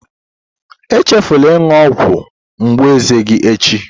Echefula ịṅụ ọgwụ mgbu eze gị echi